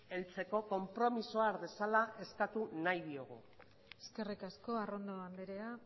heltzeko konpromisoa har dezala eskatu nahi diogu eskerrik asko arrondo andrea